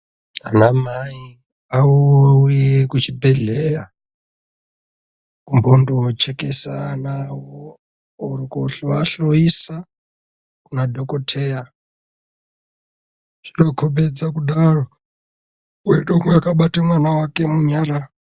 Ana mai ouye kuchibhehlehleya kumbonochekesa ana awo ,koahloisa kumadhokoteya, zvinokombedza kudaro .Koite umwe akabata mwana wake munyara.